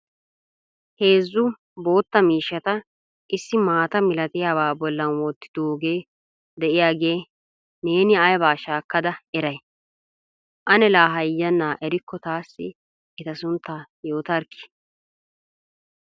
Heezzu bootta miishshata issi maata malatiyaba bollan wottidooge de'iyaage neen aybba shaakkada eray? Ane la hayyana erikko taassi eta suntta yoitarkki?